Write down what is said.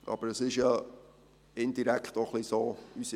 Aber es ist ja indirekt auch ein wenig so: